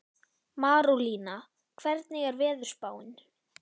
Marólína, hvernig er veðurspáin?